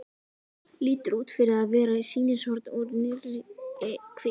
Lítur út fyrir að vera sýnishorn úr nýrri kvikmynd.